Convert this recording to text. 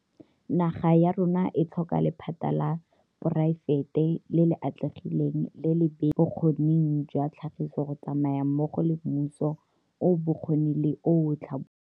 Naga ya rona e tlhoka lephata la poraefete le le atlegileng le le le beeletsang mo bokgoning jwa tlhagiso go tsamaya mmogo le mmuso o o bokgoni le o o tlhabololang.